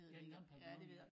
Ja den gamle pavillion ja